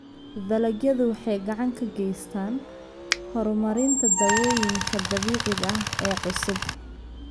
Dalagyadu waxay gacan ka geystaan ??horumarinta dawooyinka dabiiciga ah ee cusub.